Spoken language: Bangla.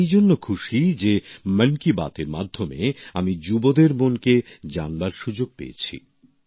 আমি এই জন্য খুশি যে মন কি বাত এর মাধ্যমে আমি যুবদের মন কে জানবার সুযোগ পেয়েছি